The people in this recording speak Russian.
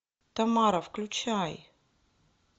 тамара включай